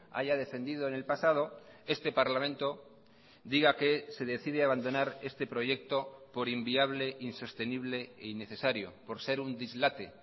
haya defendido en el pasado este parlamento diga que se decide a abandonar este proyecto por inviable insostenible e innecesario por ser un dislate